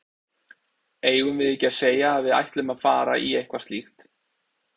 Eigum við ekki að segja að við ætlum að fara í eitthvað slíkt?